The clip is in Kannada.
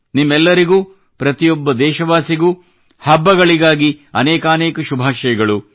ನಿಮ್ಮೆಲ್ಲರಿಗೂ ಪ್ರತಿಯೊಬ್ಬ ದೇಶವಾಸಿಗೂ ಹಬ್ಬಗಳಿಗಾಗಿ ಅನೇಕಾನೇಕ ಶುಭಾಶಯಗಳು